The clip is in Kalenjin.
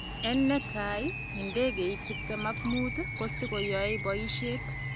En netai, idegeit 15 kosikoyoe boishet.